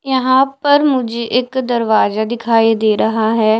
यहां पर मुझे एक दरवाजा दिखाई दे रहा है।